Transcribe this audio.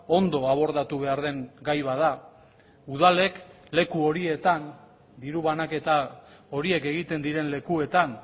ondo abordatu behar den gai bat da udalek leku horietan diru banaketa horiek egiten diren lekuetan